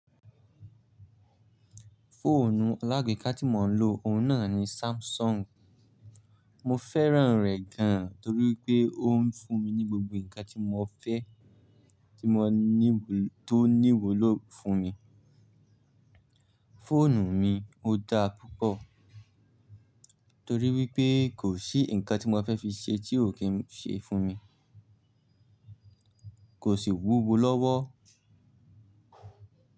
Fóònù alágbèéká tí mò ń lò, òun náà ni Samsung. Mo fẹ́ràn rẹ̀ gan torí pé ó ń fún mi ní gbogbo nǹkan tí mo fẹ́ tí mo ní wò tó ní wò ló fún mi. Fóònù mi ó dá púpọ̀ torí wípé kò sí nǹkan tí mo fẹ́ fi ṣe tí ò kí ń ṣe fún mi. Kò sì wúwo lọ́wọ́.